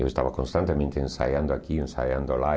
Eu estava constantemente ensaiando aqui, ensaiando lá.